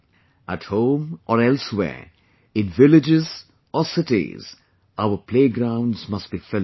At home or elsewhere, in villages or cities, our playgrounds must be filled up